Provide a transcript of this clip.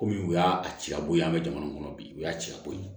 Komi u y'a ci a b'o ye an bɛ jamana kɔnɔ bi o y'a cɛya bɔ ye